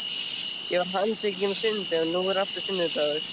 Ég var handtekinn á sunnudegi og nú er aftur sunnudagur.